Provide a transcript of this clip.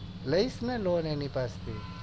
લઈશ ને loan એની પાસે